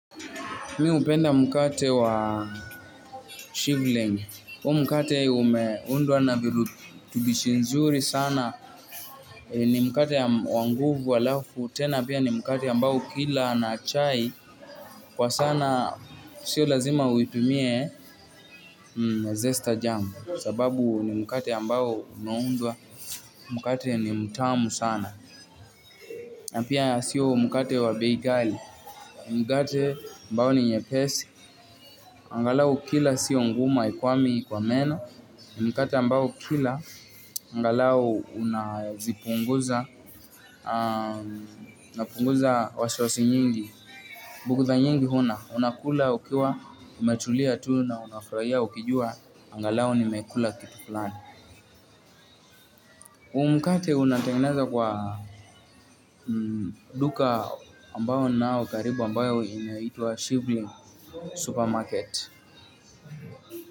Mi upenda mkate wa shivling. Huo mkate umeundwa na virutubishi nzuri sana. Ni mkate wa nguvu alafu. Tena pia ni mkate ambao ukila na chai. Kwa sana sio lazima uitumie zesta jamu. Sababu ni mkate ambao unaundwa. Mkate ni mtamu sana. Na pia sio mkate wa bei ghali. Mkate ambao ni nyepesi. Angalau ukila sio ngumu haikwami kwa meno ni mkate ambao ukila angalau unapunguza wasiwasi nyingi, bugutha nyingi huna unakula ukiwa umetulia tuu na unafurahia ukijua angalau nimekula kitu flani huu mkate unatengenezwa kwa duka ambao ninao karibu ambayo inaitwa shivling Supermarket.